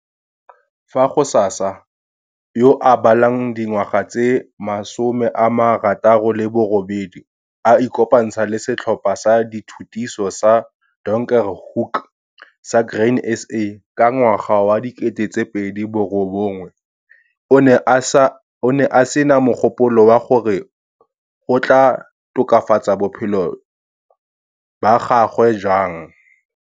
Fa Ghsasa, yo a balang dingwaga tse 68, a ikopantsha le Setlhopha sa Dithutiso sa Donkerhoek sa Grain SA ka 2009 o ne a se na mogopolo wa gore go tlaa tokafatsa bophelo ba gagwe jang.